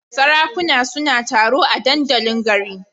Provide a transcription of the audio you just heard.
Sarakunan suna taro a dandalin garin.